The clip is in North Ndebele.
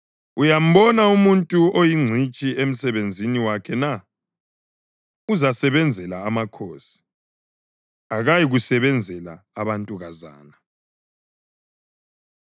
Uyambona umuntu oyingcitshi emsebenzini wakhe na? Uzasebenzela amakhosi; akayikusebenzela abantukazana.